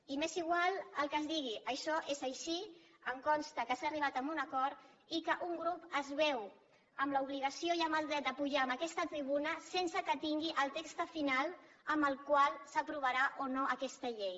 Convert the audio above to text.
i m’és igual el que es digui això és així em consta que s’ha arribat a un acord i que un grup es veu en l’obligació i amb el dret de pujar a aquesta tribuna sense que tingui el text final amb el qual s’aprovarà o no aquesta llei